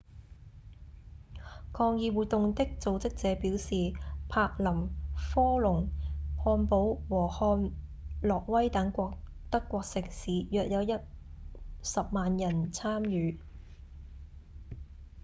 抗議活動的組織者表示柏林、科隆、漢堡和漢諾威等德國城市約有10萬人參與